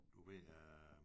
Du ved øh